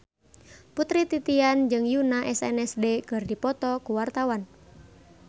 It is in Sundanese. Putri Titian jeung Yoona SNSD keur dipoto ku wartawan